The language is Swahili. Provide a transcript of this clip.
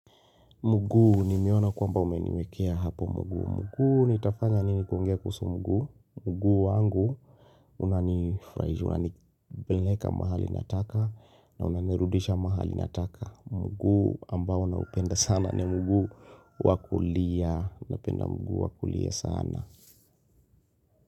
Muguu nimeona kwamba umeniwekea hapo muguu. Muguu nitafanya nini kuongea kuhusu mguu. Muguu wangu unanifurahisha, unanipeleka mahali nataka na unanirudisha mahali nataka. Muguu ambao naupenda sana ni muguu wa kulia. Napenda muguu wa kulia sana.